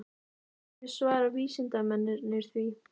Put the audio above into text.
Hverju svara vísindamennirnir því?